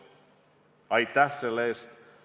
Aitäh selle eest!